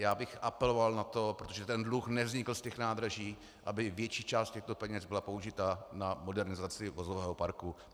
Já bych apeloval na to, protože ten dluh nevznikl z těch nádraží, aby větší část těchto peněz byla použita na modernizaci vozového parku.